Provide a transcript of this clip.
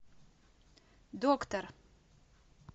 доктор